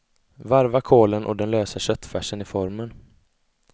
Varva kålen och den lösa köttfärsen i formen.